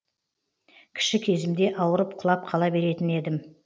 кіші кезімде ауырып құлап қала беретін едім